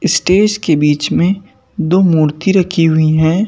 Stage के बीच में दो मूर्ति रखी हुई हैं।